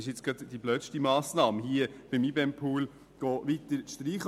Beim IBEM-Pool weitere Streichungen vorzunehmen, ist gerade die dümmste Massnahme.